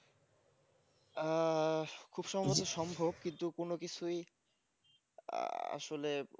আহ খুব সহজে সম্ভব কিন্তু কোন কিছুই আসলে